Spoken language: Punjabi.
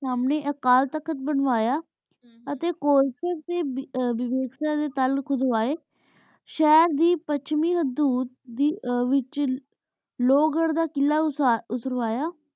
ਸੰਨੀ ਆਇਕ ਕਲ ਤਖ਼ਤ ਬਨਵਾਯਾ ਹਮਮ ਕੋਲ ਸਕਤੀ ਵੇਵੇਕ ਨੀ ਤਾਲੁਕ ਖੁਦ ਵੀਸ਼ਾਹੇਰ ਦੇ ਪਾਸ਼੍ਵੇ ਹਦੂਦ ਡੀ ਵੇਚ ਲੁਘੁਰ ਦਾ ਕਿਲਾ ਖੁਦ੍ਵਾਯਾ